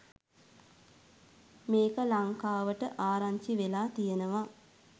මේක ලංකා‍වට ආරංචි වෙලා තියෙනවා.